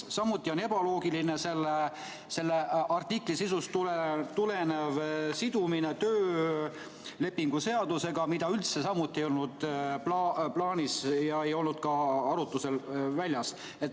Samuti on ebaloogiline selle artikli sisust tulenev sidumine töölepingu seadusega, mida üldse samuti ei olnud plaanis ega olnud ka arutlusel.